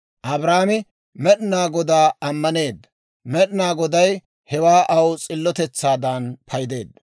Abraamo Med'inaa Godaa ammaneedda; Med'inaa Goday hewaa aw s'illotetsaadan paydeedda.